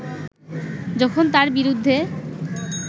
যখন তার বিরুদ্ধে